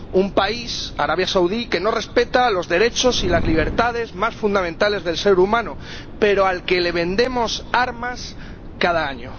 Un país, Arabia Saudí, que no respeta los derechos y las libertades más fundamentales del ser humano, pero al que vendemos armas cada año.